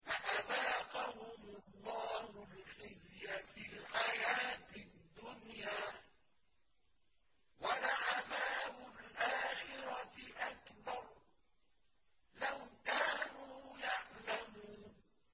فَأَذَاقَهُمُ اللَّهُ الْخِزْيَ فِي الْحَيَاةِ الدُّنْيَا ۖ وَلَعَذَابُ الْآخِرَةِ أَكْبَرُ ۚ لَوْ كَانُوا يَعْلَمُونَ